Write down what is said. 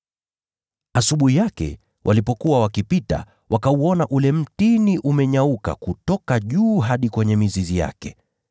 Asubuhi yake walipokuwa wakipita, wakauona ule mtini umenyauka kutoka juu hadi kwenye mizizi yake.